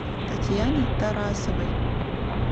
татьяне тарасовой